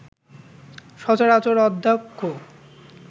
সচরাচর অধ্যক্ষ